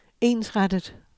ensrettet